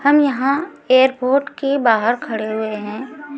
हम यहाँ एयरपोर्ट के बाहर खड़े हुए हैं।